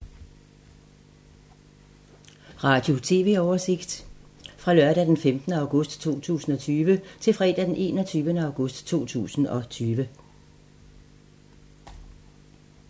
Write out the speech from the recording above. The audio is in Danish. Radio/TV oversigt fra lørdag d. 15. august 2020 til fredag d. 21. august 2020